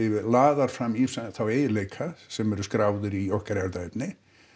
laðar fram ýmsa þá eiginleika sem eru skráðir í okkar erfðaefni